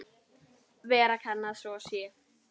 Vera kann að svo sé.